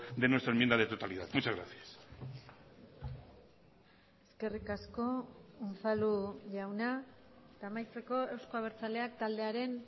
de nuestra enmienda de totalidad muchas gracias eskerrik asko unzalu jauna eta amaitzeko euzko abertzaleak taldearen